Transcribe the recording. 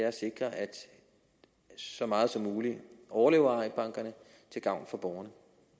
at sikre at så meget som muligt af overlever til gavn for borgerne